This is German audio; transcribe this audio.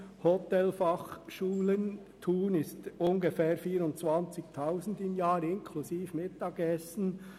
Es sind ungefähr 24 000 Franken im Jahr inklusive Mittagessen.